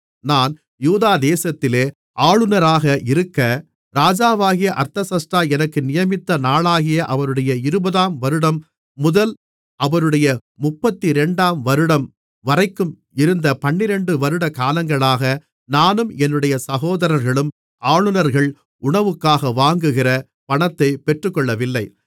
நான் யூதா தேசத்திலே ஆளுநராக இருக்க ராஜாவாகிய அர்தசஷ்டா எனக்கு நியமித்த நாளாகிய அவருடைய இருபதாம் வருடம் முதல் அவருடைய முப்பத்திரண்டாம் வருடம் வரைக்கும் இருந்த பன்னிரண்டு வருட காலங்களாக நானும் என்னுடைய சகோதரர்களும் ஆளுநர்கள் உணவுக்காக வாங்குகிற பணத்தை பெற்றுக்கொள்ளவில்லை